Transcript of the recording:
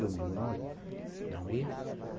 Domingo não ia.